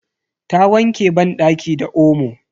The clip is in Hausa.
Ta wanke banɗaki da omo.